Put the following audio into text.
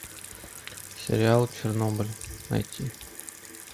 сериал чернобыль найти